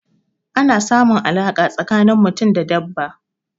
Ana samun alaƙa tsakanin mutum da dabba.